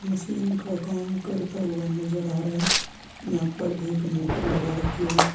Machine का काम करता हुआ नजर आ रहा है यहाँ पर एक मोटर लगा रखी है।